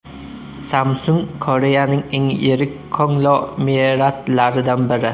Samsung Koreyaning eng yirik konglomeratlaridan biri.